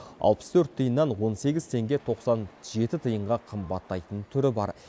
алпыс төрт тиыннан он сегіз теңге тоқсан жеті тиынға қымбаттайтын түрі бар